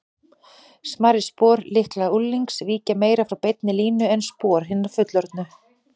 Smærri spor, líklega unglings, víkja meira frá beinni línu en spor hinna fullorðnu.